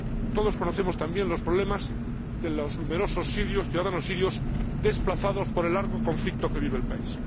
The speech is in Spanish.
Todos conocemos también los problemas de los numerosos ciudadanos sirios desplazados por el largo conflicto que vive el país.